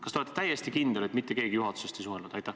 Kas te olete täiesti kindel, et mitte keegi juhatusest ei suhelnud?